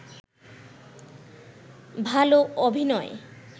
ভাল অভিনয়